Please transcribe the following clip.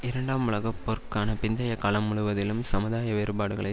இரண்டாம் உலக போருக்கு பிந்தைய காலம் முழுவதிலும் சமுதாய வேறுபாடுகளை